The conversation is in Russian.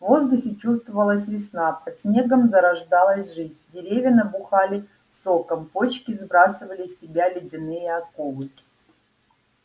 в воздухе чувствовалась весна под снегом зарождалась жизнь деревья набухали соком почки сбрасывали с себя ледяные оковы